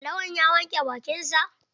Lawan ya wanke bakin sa?